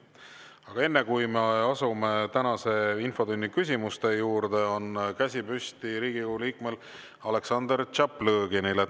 Aga enne, kui me asume tänase infotunni küsimuste juurde, on käsi püsti Riigikogu liikmel Aleksandr Tšaplõginil.